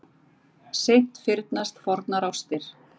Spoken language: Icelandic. Seint fyrnast fornar ástir.